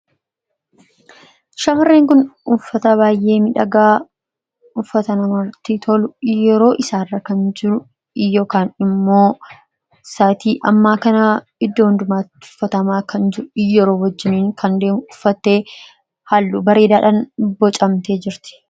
Shamarreen kun uffata baay'ee miidhagaa, uffata namatti tolu, yeroo isaa irra kan jiru, yookaan immoo saa'atii ammaa kana iddoo hundumaatti uffatamaa kan jiru, yeroo wajjiniin kan deemu uffatte hallu bareedadhaan bocamtee jirti.